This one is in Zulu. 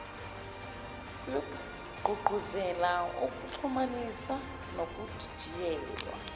kuyogqugquzela ukuxhumanisa nokudidiyelwa